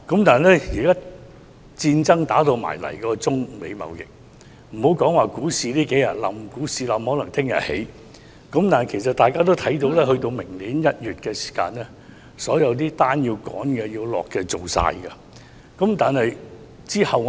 "但現時發生了中美貿易戰——別說最近數天股市下跌，因為可能明天又會上升——到了明年1月的時候，所有急趕的訂單均已經完成，那之後如何呢？